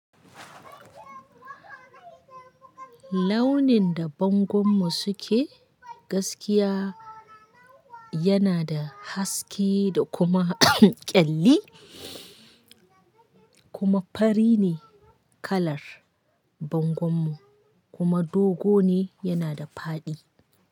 Launin da bangon mu suke gaskiya yana da haske da kuma ƙyalli kuma fari ne kallan bangwanmu, kuma dogo ne yana da faɗi.